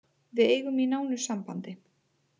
Við eigum í nánu sambandi